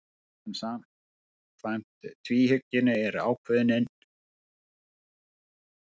En samkvæmt tvíhyggjunni er ákvörðunin ekki efnislegt ferli heldur eitthvað annað.